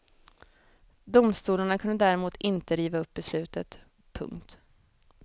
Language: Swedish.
Domstolarna kunde däremot inte riva upp beslutet. punkt